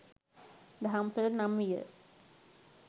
දහම්සොඬ නම් විය.